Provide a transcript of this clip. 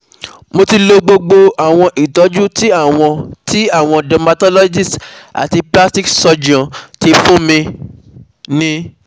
Mo ti lo gbogbo àwọn ìtọ́jú tí àwọn tí àwọn dermatologists àti plastic surgeons ti fún mi ní